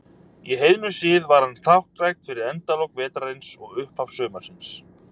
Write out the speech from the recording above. Í heiðnum sið var hann táknrænn fyrir endalok vetrarins og upphaf sumarsins.